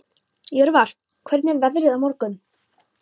Jörvar, hvernig er veðrið á morgun?